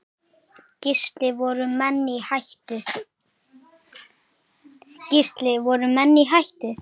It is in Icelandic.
Gísli: Voru menn í hættu?